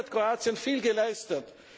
Auch hier hat Kroatien viel geleistet.